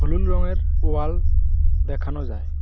হলুদ রংয়ের ওয়াল দেখানো যায়।